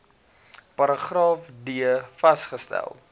paragraaf d vasgestel